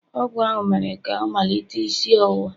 ọgụ ahụ mere ka ọ malite isi ọwụwa.